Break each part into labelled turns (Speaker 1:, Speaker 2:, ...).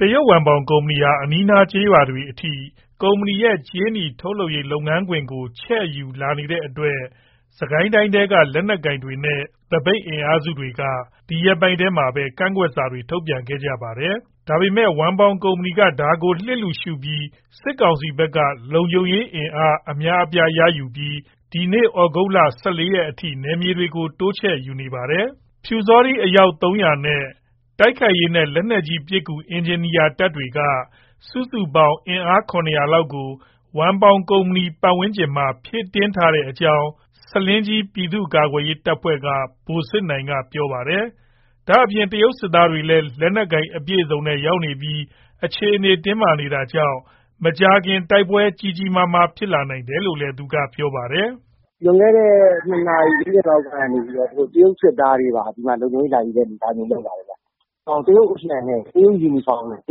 Speaker 1: တရုတ်ဝမ်ပေါင် ကုမ္ပဏီဟာ အနီးအနား ကျေးရွာတွေအထိ ကုမ္ပဏီရဲ့ ကြေးနီထုတ်လုပ်ရေး လုပ်ငန်းခွင်ကို ချဲ့ယူလာနေတဲ့အတွက် စစ်ကိုင်းတိုင်းထဲက လက်နက်ကိုင်တွေနဲ့ သပိတ် အင်အားစုတွေက ဒီရက်ပိုင်းထဲမှာပဲ ကန့်ကွက်စာတွေ ထုတ်ပြန်ခဲ့ကြတာပါ။ ဒါပေမဲ့ ဝမ်ပေါင်ကုမ္ပဏီက ဒါကို လစ်လျူရှုပြီး စစ်ကောင်စီဘက်က လုံခြုံရေးအင်အား အများအပြား ရယူပြီး ဒီနေ့ ဩဂုတ်လ ၁၄ ရက်အထိ နယ်မြေတွေကို တိုးချဲ့ယူထားပါတယ်။ ပျူစောထီး အယောက် ၃၀၀ နဲ့ တိုက်ခိုက်ရေးနဲ့ လက်နက်ကြီးပစ်ကူ အင်ဂျင်နီယာတပ်တွေက အင်အား စုစုပေါင်း ၇၀၀ လောက်ကို ဝမ်ပေါင်ကုမ္ပဏီ ပတ်ဝန်းကျင်မှာ ဖြည့်တင်းထားတဲ့အကြောင်း ဆားလင်းကြီး ပြည်သူ့ကာကွယ်ရေးတပ်ဖွဲ့က ဗိုလ်စစ်နိုင်က ပြောပါတယ်။ ဒါ့အပြင် တရုတ်စစ်သားတွေလည်း လက်နက်အပြည့်အစုံနဲ့ ရောက်နေပြီး အခြေအနေ တင်းမာနေတာကြောင့် မကြာခင် တိုက်ပွဲ ကြီးကြီးမားမား ဖြစ်လာနိုင်တယ်လို့လည်း သူက ပြောပါတယ်။
Speaker 2: "လွန်ခဲ့တဲ့ ၂ နာရီ ၄၀ လောက်က သူတို့ တရုတ်စစ်သားတွေပါ ဒီမှာ လုံခြုံရေးလာယူတဲ့ အနေအထားမျိုး လုပ်လာတယ်ဗျ။ တရုတ်အလံနဲ့ တရုတ် ယူနီဖောင်းနဲ့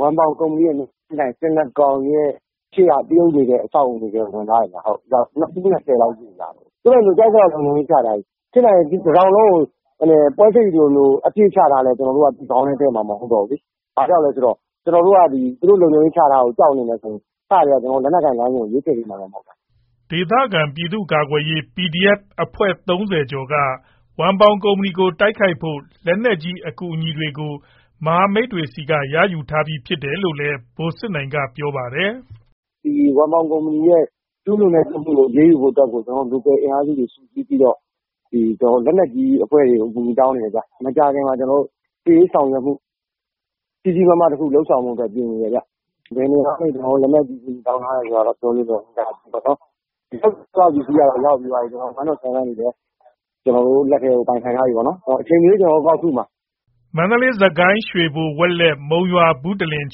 Speaker 2: ဝမ်ပေါင်ကုမ္ပဏီရဲ့ မျက်နှာချင်းဆိုင် ဆင်နှစ်ကောင်ရှေ့က တရုတ်နေတဲ့ အဆောက်အဦးထဲ ဝင်သွားတယ်ဗျ။ ၂၀ လောက် ရှိတယ်။ သူတို့ ကြိုက်သလောက် လုံခြုံရေးချထား။ ဖြစ်နိုင်ရင် ဒီ တတောင်လုံးကို ပိုက်စိပ်လို အပြည့်ချထားလည်း ကျနော်တို့က ခေါင်းထဲ ထည့်မှာ မဟုတ်ဘူးလေ။ ကျနော်တို့က သူတို့လုံခြုံရေးချထားတာ ကြောက်နေမယ်ဆိုရင် အစကတည်းက လက်နက်ကိုင် လမ်းစဉ်ကို ရွေးချယ်ဖြစ်မှာမှ မဟုတ်တာ
Speaker 1: ။" ဒေသခံ ပြည်သူ့ကာကွယ်ရေး PDF အဖွဲ့ ၃၀ ကျော်က ဝမ်ပေါင်ကုမ္ပဏီကို တိုက်ခိုက်ဖို့ လက်နက်ကြီး အကူအညီတွေကို မဟာမိတ်တွေဆီက ရယူထားပြီး ဖြစ်တယ်လို့လည်း ဗိုလ်စစ်နိုင်က ပြောပါတယ်။
Speaker 2: "ဝမ်ပေါင်ကုမ္ပဏီ ကျူးလွန်တာတွေကို အရေးယူဖို့ local အင်အားတွေ စုစည်းပြီးတော့ ကျနော်တို့ လက်နက်ကြီး အဖွဲ့တွေကို အကူအညီ တောင်းနေတယ်ဗျ။ မကြာခင်မှာ စစ်ရေး ဆောင်ရွက်မှု ကြီးကြီးမားမား လုပ်ဆောင်ဖို့ ပြင်နေတယ်ဗျ။ ဘယ်နေရာကနေ လက်နက်ကြီး တောင်းထားတယ်ဆိုတာ ပြောလို့မရဘူးပေါ့နော်။ ပစ္စည်းတွေက 107 mm တွေလည်း ကျနော်တို့ လက်ထဲကို ပိုင်ဆိုင်ထားပြီးပြီ။ အချိန်မရွေး ကျနော်တို့ ကောက်ထုမှာ
Speaker 1: ။" မန္တလေး၊ စစ်ကိုင်း၊ ရွှေဘို၊ ဝက်လက်၊ မုံရွာ၊ ဘုတလင်၊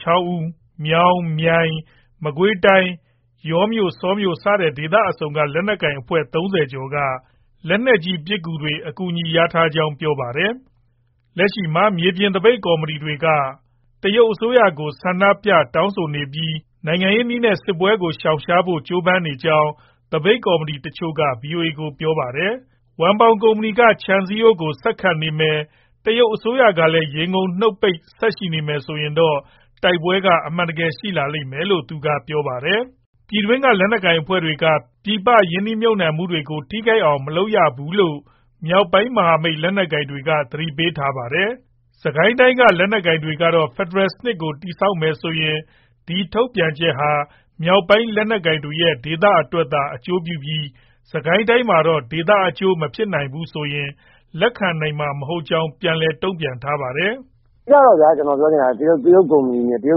Speaker 1: ချောင်းဦး၊ မြောင်၊ မြိုင်၊ မကွေးတိုင်း၊ ယောမြို့၊ ဆောမြို့စတဲ့ ဒေသအစုံက လက်နက်ကိုင် အဖွဲ့ ၃၀ ကျော်က လက်နက်ကြီး ပစ်ကူတွေ အကူအညီ ရထားကြောင်း ပြောပါတယ်။ လက်ရှိမှာ မြေပြင်သပိတ် ကော်မတီတွေက တရုတ်အစိုးရကို ဆန္ဒပြ တောင်းဆိုနေပြီး နိုင်ငံရေးနည်းနဲ့ စစ်ပွဲကို ရှောင်ရှားဖို့ ကြိုးပမ်းနေကြောင်း သပိတ်ကော်မတီ တချို့က ဗွီအိုအေကို ပြောပါတယ်။ ဝမ်ပေါင်ကုမ္ပဏီ က ခြံစည်းရိုးကို ဆက်ခတ်နေမယ်။ တရုတ်အစိုးရကလည်း ရေငုံနှုတ်ပိတ် ဆက်ရှိနေမယ် ဆိုရင်တော့ တိုက်ပွဲက အမှန်တကယ် ရှိလာလိမ့်မယ်လို့ သူက ပြောပါတယ်။ ပြည်တွင်းက လက်နက်ကိုင်အဖွဲ့တွေက ပြည်ပ ရင်းနှီးမြှုပ်နှံမှုတွေကို ထိခိုက်အောင် မလုပ်ရဘူးလို့ မြောက်ပိုင်းမဟာမိတ် လက်နက်ကိုင်တွေက သတိပေးထားပါတယ်။ စစ်ကိုင်းတိုင်းက လက်နက်ကိုင်တွေကတော့ ဖက်ဒရယ်စနစ်ကို တည်ဆောက်မယ်ဆိုရင် ဒီထုတ်ပြန်ချက်ဟာ မြောက်ပိုင်း လက်နက်ကိုင်တွေရဲ့ ဒေသအတွက်သာ အကျိုးပြုပြီး စစ်ကိုင်းတိုင်းမှာတော့ ဒေသအကျိုး မဖြစ်ဘူးဆိုရင် လက်ခံမှာ မဟုတ်ကြောင်း ပြန်လည် တုံ့ပြန်ထားပါတယ်။ "အ
Speaker 2: ဓိကတော့ဗျာ သူတို့ တရုတ်ကုမ္ပဏီနဲ့ တရု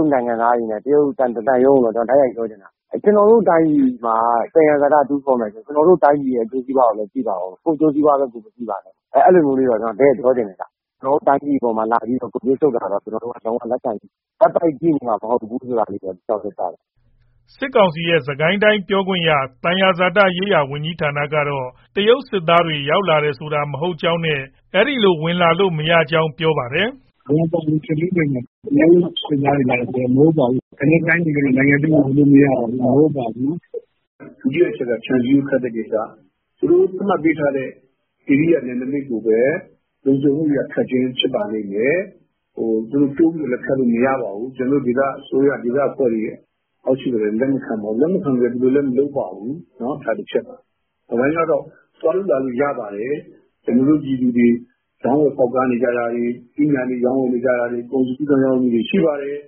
Speaker 2: တ် နိုင်ငံသားတွေနဲ့ တရုတ်သံရုံးကို တိုက်ရိုက်ပြောချင်တာက ကျနော်တို့တိုင်းပြည်မှာ သယံဇာတ တူးဖော်မယ်ဆိုရင် ကျနော်တို့ တိုင်းပြည်ရဲ့ အကျိုးစီးပွားကိုလည်း ကြည့်ပါဦး။ ကိုယ့်အကျိုးစီးပွားပဲ မကြည့်ပါနဲ့။ အဲလိုမျိုး တဲ့ပြောချင်တယ်။ ကျနော်တို့ တိုင်းပြည်မှာ လာပြီး ဂုတ်သွေးစုပ်တာတော့ ကျနော်တို့က လက်ပိုက်ကြည့်နေမှာ မဟုတ်ဘူး။"
Speaker 1: စစ်ကောင်စီရဲ့ စစ်ကိုင်းတိုင်း ပြောခွင့်ရ၊ သယံဇာတရေးရာ ဝန်ကြီးဌာနကတော့ တရုတ်စစ်သားတွေ ရောက်လာတယ်ဆိုတာ မဟုတ်ကြောင်းနဲ့ အဲ့လို ဝင်လာလို့ မရကြောင်း ပြောပါတယ်။
Speaker 2: "ဝမ်ပေါင် စီမံကိန်းနယ်ထဲကိုတရုတ်စစ်သားတွေ လာတယ်ဆိုတာ မဟုတ်ပါဘူး။ ကျနော်တို့ တိုင်းပြည်ထဲ နိုင်ငံထဲကို ဝင်လို့မရပါဘူး။ ဒုတိယ ခြံစည်းရိုးခတ်တဲ့ကိစ္စ သူတို့ သတ်မှတ်ပေးထားတဲ့ ဧရိယာ နယ်နမိတ်ကိုပဲ လုံခြုံမှုအရ ခတ်ခြင်း ဖြစ်ပါလိမ့်မယ်။တိုးပြီးလည်း ခတ်လို့မရပါဘူး။ကျနော်တို့ ဒေသအစိုးရ ဒေသအဖွဲ့လည်း လက်မခံပါဘူး။ သူတို့လည်း မလုပ်ပါဘူး။ နောက်တပိုင်းကတော့ သွားလို့လာလို့ရပါတယ်။ ကျနော်တို့ ပြည်သူတွေ ရောင်းဝယ်ဖောက်ကားတာ၊ သီးနှံတွေ ရောင်းဝယ်နေကြတာ၊ကုန်စည် ကူးသန်း ရောင်းဝယ်န
Speaker 1: ေတာ ရှိပါတယ်။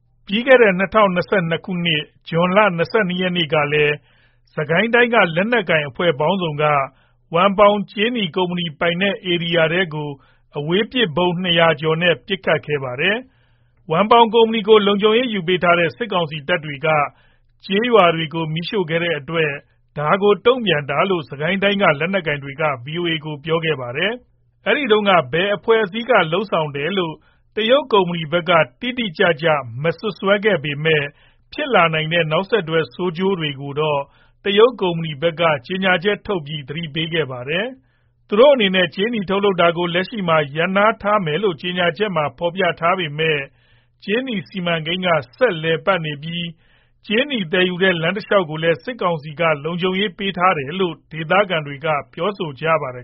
Speaker 1: " ပြီးခဲ့တဲ့ ၂၀၂၂ ခုနှစ်၊ ဇွန်လ ၂၂ ရက်မှာလည်း စစ်ကိုင်းတိုင်းက လက်နက်ကိုင် အဖွဲ့ပေါင်းစုံက ဝမ်ပေါင်ကြေးနီ ကုမ္ပဏီပိုင်နက် ဧရိယာထဲကို အဝေးပစ်ဗုံး ၂၀၀ ကျော်နဲ့ ပစ်ခတ်ခဲ့ပါတယ်။ ဝမ်ပေါင် ကုမ္ပဏီကို လုံခြုံရေး ယူပေးထားတဲ့ စစ်ကောင်စီတပ်တွေက ကျေးရွာတွေကို မီးရှိုခဲ့တဲ့အတွက် ဒါကို တုံ့ပြန်ခဲ့တာလို့ စစ်ကိုင်းတိုင်းက လက်နက်ကိုင်တွေက ဗွီအိုအေကို ပြောခဲ့ပါတယ်။ အဲဒီတုန်းက ဘယ်အဖွဲ့အစည်းက လုပ်ဆောင်တယ်လို့ တရုတ်ကုမ္ပဏီဘက်က တိတိကျကျ မစွပ်စွဲခဲ့ပေမဲ့ ဖြစ်လာနိုင်တဲ့ နောက်ဆက်တွဲ ဆိုးကျိုးတွေကိုတော့ တရုတ်ကုမ္ပဏီဘက်က ကြေညာချက်ထုတ်ပြီး သတိပေးခဲ့ပါတယ်။ သူတို့အနေနဲ့ ကြေးနီ ထုတ်လုပ်တာကို လက်ရှိမှာ ရပ်နားထားတယ်လို့ ကြေညာချက်မှာ ဖော်ပြထားပေမဲ့ ကြေးနီစီမံကိန်းက ဆက်လည်ပတ်နေပြီး ကြေးနီသယ်ယူတဲ့ လမ်းတလျှောက်ကိုလည်း စစ်ကောင်စီက လုံခြုံရေး ယူပေးထားတယ်လို့ ဒေသခံတွေက ပြောဆိုကြပါတယ်